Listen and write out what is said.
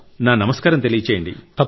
నా నమస్కారం తెలియజేయండి